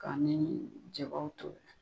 Ka ni jabaw tobi.